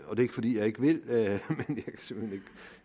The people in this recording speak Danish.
fordi jeg ikke vil men